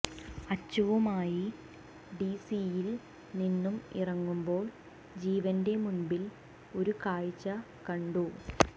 അച്ചുവുമായി ഡിസിയിൽ നിന്നും ഇറങ്ങുമ്പോൾ ജീവന്റെ മുൻപിൽ ഒരു കാഴ്ച കണ്ടു